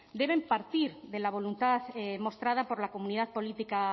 deben partir de la voluntad mostrada por la comunidad política